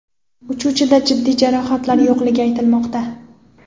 Uchuvchida jiddiy jarohatlar yo‘qligi aytilmoqda.